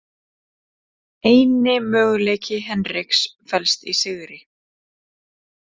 Eini möguleiki Henriks felst í sigri